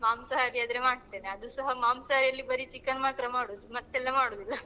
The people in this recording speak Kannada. ಮಾಂಸಾಹಾರಿ ಆದ್ರೆ ಮಾಡ್ತೇನೆ ಅದು ಸಹಾ ಮಾಂಸಾಹಾರಿ ಅಲ್ಲಿ ಬರಿ chicken ಮಾತ್ರ ಮಾಡುದು ಮತ್ತೆಲ್ಲ ಮಾಡುದಿಲ್ಲ. .